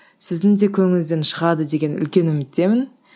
сіздің де көңіліңізден шығады деген үлкен үміттемін